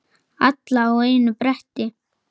Alla á einu bretti.